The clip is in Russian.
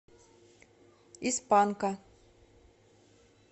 из панка